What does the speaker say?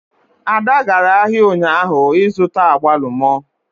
Ada gara ahịa ụnyaahụ ịzụta agbalumo